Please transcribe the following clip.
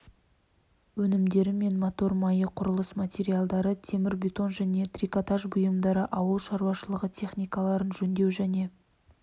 өнімдері мен мотор майы құрылыс материалдары темірбетон және трикотаж бұйымдары ауыл шаруашылығы техникаларын жөндеу және